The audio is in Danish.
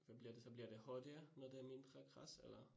Hvad bliver det så bliver det hurtigere, når der er mindre græs eller?